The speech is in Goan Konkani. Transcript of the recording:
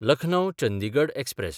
लखनौ–चंदिगड एक्सप्रॅस